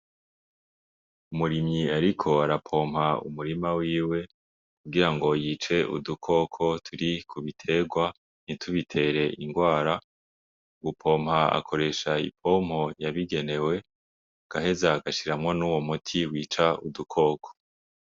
Umurimyi ariko ara pompa umurima wiwe kugire ngo yice udukoko turi Ku bitegwa ngo ntitubitere ingwara mugu pompa akoresha i pompo yabigenewe agaheza agashiramwo nuwo muti wica udukoko.